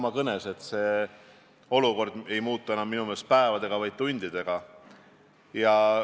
Ma tõesti arvan, et praegu on olukord, kus Riigikogus esindatud erakonnad, nende esindajad, esimehed, fraktsioonijuhid peaksid lähiajal kohtuma.